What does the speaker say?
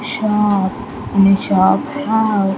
Shop in a shop have --